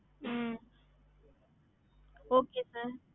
ஹம்